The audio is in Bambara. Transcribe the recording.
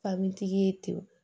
Fabintigi ye ten